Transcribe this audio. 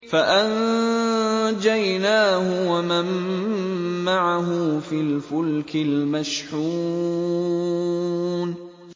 فَأَنجَيْنَاهُ وَمَن مَّعَهُ فِي الْفُلْكِ الْمَشْحُونِ